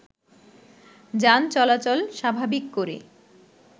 যান চলাচল স্বাভাবিক করে